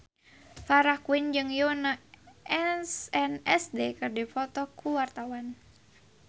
Farah Quinn jeung Yoona SNSD keur dipoto ku wartawan